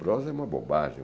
Prosa é uma bobagem.